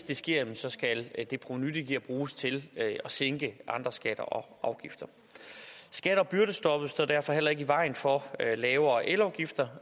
det sker skal det provenu det giver bruges til at sænke andre skatter og afgifter skatte og byrdestoppet står derfor heller ikke i vejen for lavere elafgifter